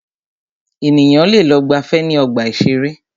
Ènìyàn lẹ lọ gbàfẹ́ ní ọgbà ìṣẹ̀rẹ́.